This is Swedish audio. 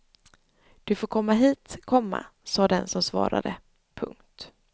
Du får komma hit, komma sa den som svarade. punkt